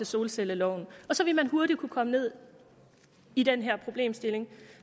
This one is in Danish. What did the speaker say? solcelleloven og så vil man hurtigt kunne komme ned i den her problemstilling